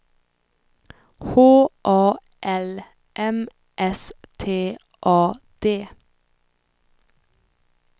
H A L M S T A D